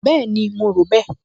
Bẹ́ẹ̀ni, mo rò bẹ́ẹ̀